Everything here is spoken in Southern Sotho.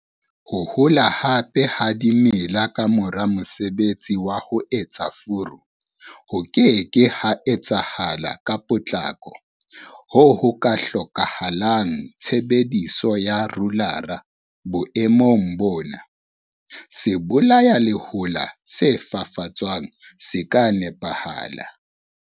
Ho hola hape ha dimela ka mora mosebetsi wa ho etsa furu ho ke ke ha etsahala ka potlako hoo ho ka hlokahalang tshebediso ya rolara. Boemong bona, sebolayalehola se fafatswang se ka nepahala.